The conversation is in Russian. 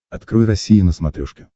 открой россия на смотрешке